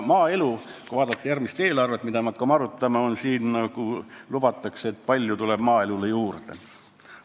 Kui vaadata järgmist eelarvet, mida me arutama hakkame, siis siin lubatakse, et maaelule tuleb palju raha juurde.